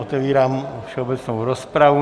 Otevírám všeobecnou rozpravu.